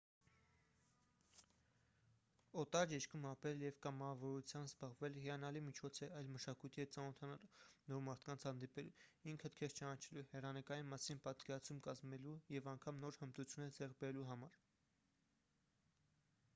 օտար երկրում ապրելը և կամավորությամբ զբաղվելը հիանալի միջոց է այլ մշակույթի հետ ծանոթանալու նոր մարդկանց հանդիպելու ինքդ քեզ ճանաչելու հեռանկարի մասին պատկերացում կազմելու և անգամ նոր հմտություններ ձեռք բերելու համար